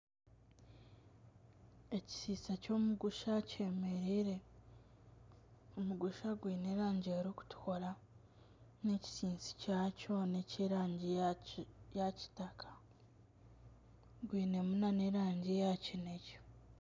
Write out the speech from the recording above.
Ekishiisha ky'omugusha kyemereire. Omugusha gwine erangi erikutukura n'ekisinsi kyakyo n'ekyerangi ya Kitaka gwine mu na nerangi ya kinekye.